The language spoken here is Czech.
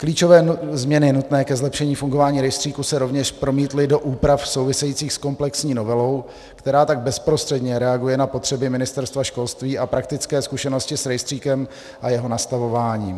Klíčové změny nutné ke zlepšení fungování rejstříku se rovněž promítly do úprav související s komplexní novelou, která tak bezprostředně reaguje na potřeby Ministerstva školství a praktické zkušenosti s rejstříkem a jeho nastavování.